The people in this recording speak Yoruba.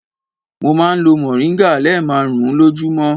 Mo máa ń lo mòríngà lẹ́ẹ̀marùn-ún lójúmọ́.